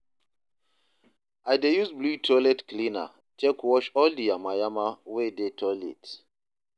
I dey use blew toilet cleaner take wash all di yama yama wey dey toilet